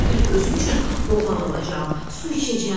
Hər gün özüm üçün qoğal alacam, su içəcəm.